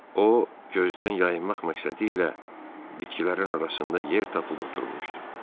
O, gözdən yayınmaq məqsədilə bitkilərin arasında yer tapıb oturmuşdu.